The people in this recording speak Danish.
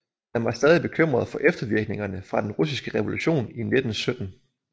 Man var stadig bekymret for eftervirkningerne fra den Russiske revolution i 1917